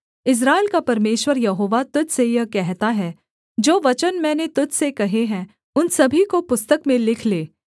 इस्राएल का परमेश्वर यहोवा तुझ से यह कहता है जो वचन मैंने तुझ से कहे हैं उन सभी को पुस्तक में लिख ले